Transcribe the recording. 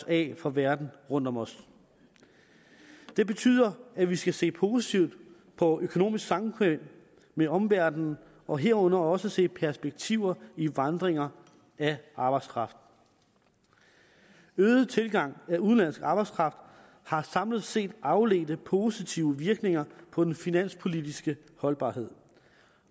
af for verdenen rundt om os det betyder at vi skal se positivt på økonomisk samkvem med omverdenen og herunder også se perspektiver i vandringer af arbejdskraft øget tilgang af udenlandsk arbejdskraft har samlet set afledte positive virkninger på den finanspolitiske holdbarhed